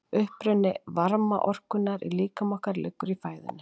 uppruni varmaorkunnar í líkama okkar liggur í fæðunni